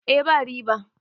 eh ba riba